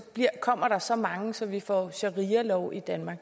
kommer der så mange så vi får sharialov i danmark